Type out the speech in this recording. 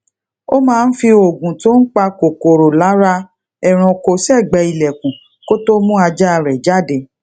ó máa ń fi oògùn to n pa kòkòrò lara ẹranko ségbèé ilekun kó tó mú ajá rè jáde